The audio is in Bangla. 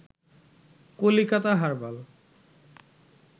কলিকাতা হারবাল